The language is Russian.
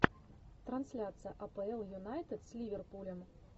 трансляция апл юнайтед с ливерпулем